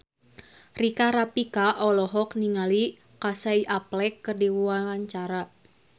Rika Rafika olohok ningali Casey Affleck keur diwawancara